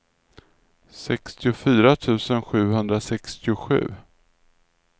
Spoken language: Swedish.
sextiofyra tusen sjuhundrasextiosju